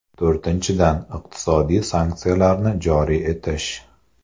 To‘rtinchidan, iqtisodiy sanksiyalarni joriy etish.